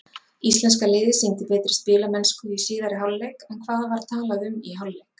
Íslenska liðið sýndi betri spilamennsku í síðari hálfleik en hvað var talað um í hálfleik?